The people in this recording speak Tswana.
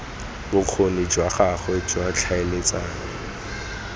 bokgoni jwa gagwe jwa tlhaeletsano